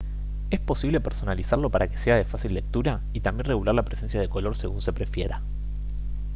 es posible personalizarlo para que sea de fácil lectura y también regular la presencia de color según se prefiera